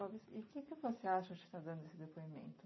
Clovis, e o que que você acha de estar dando esse depoimento?